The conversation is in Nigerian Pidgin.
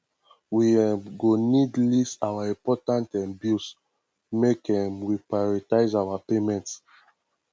we um go need list our important um bills make um we prioritize our payments